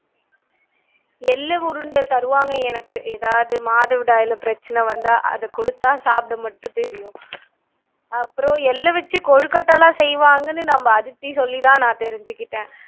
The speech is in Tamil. எள்ளு உருண்டை தருவாங்க எனக்கு எதாவது மாதவிடாய்லே பிரச்சனை வந்தா அது குடுத்தா சாப்பிடமட்டும் தெரியும் அப்பறம் எள்ள வச்சு கொழுக்கட்டைலாம் செய்வாங்கன்னு நம்ப அதித்தி சொல்லிதான் தெரிஞ்சுகிட்டேன்